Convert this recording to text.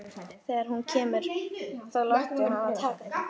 Þegar hún kemur þá láttu hana taka þig.